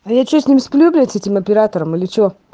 а я что с ним сплю блять с этим оператором или че